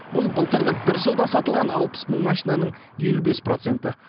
бұл былтырғы бір жылда сатылған алпыс мың машинаның елу бес проценті